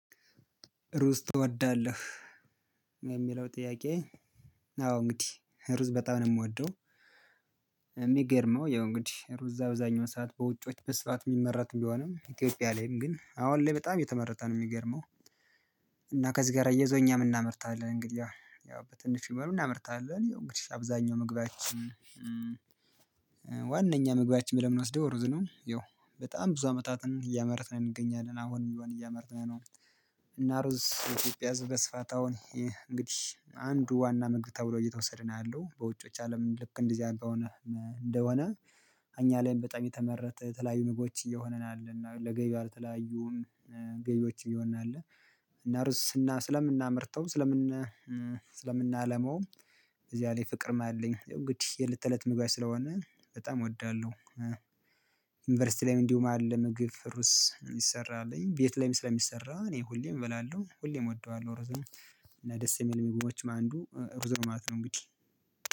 ሩዝ ትወዳለህ የሚለው ጥያቄ አዎ እንግዲህ ሩዝ በጣም ነው የምወደው የሚገርመው ያው እንግዲህ ሩዝ እዛ በዛኛው ሰዓት በውጭዎች በስፋት የሚመራት ቢሆንም ኢትዮጵያ ላይም ግን አሁን ላይ በጣም የተመረተ ነው የሚገርመው እና ከዚህ ጋር አያይዞ እኛም እናመርታለን እንግዲህ ያው በትንሽ ብይሆን እናመርታለን እንግዲህ አብዛኛው ምግባችን ዋንኛ ምግባችን ብለን የምንወስደው ሩዝ ነው። ይኸው በጣም ብዙ አመታትን እያመረትን እንገኛለን አሁንም እያመረተን ነው። እና ሩዝ የኢትዮጵያ ህዝብ በስፋት አውን እንግዲህ አንዱ ዋና ምግብ ተብሎ እየተወሰደ አለው በውጮች አለም ልክ እንደዚህ አይነት እንደሆነ እኛ ላይም በጣም የተመረተ የተለያየላ ምግቦች እየሆነ እና ለገበያ ለተለያዩ ገቢዎዮች እየሆናለ እና ሩዝ ስለምናመርተው ስለምናለማውም እዚያ ላይ ፍቅርም አለኝ እንግድሂ የለት ተለት ምግባችን ስለሆነ በጣም እወዳለሁ። ዩኒቨርሲቲ ላይም እንዲሁም አለ ምግብ ሩዝ የሚሰራ አለኝ ቤት ላይም ስለሚሰራ እኔ ሁሌም እበላለሁ ሁሌም እወደዋለሁ ርዝም እና ደስ የሚል ምግቦችም አዱ ሩዝ ማለት ነው እንግዲህ።